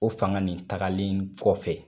O fanga nin tagalen kɔfɛ